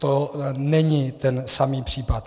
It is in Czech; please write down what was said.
To není ten samý případ.